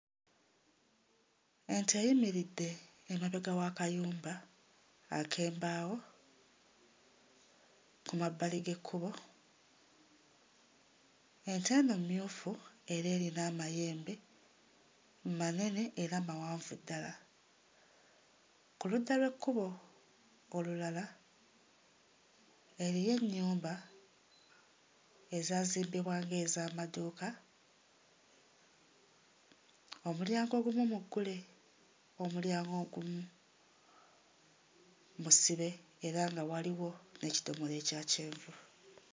Ente eyimiridde emabega w'akayumba ak'embaawo ku mabbali g'ekkubo. Ente eno mmyufu era erina amayembe manene era mawanvu ddala. Ku ludda lw'ekkubo olulala eriyo ennyumba ezaazimbibwa nga ez'amaduuka omulyango ogumu muggule omulyango ogumu musibe era nga waliwo n'ekidomola ekya kyenvu.